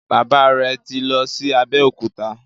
Bàbá rẹ tí lọ sì Abeokuta.